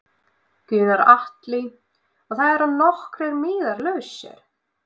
Gunnar Atli: Og það eru nokkrir miðar lausir?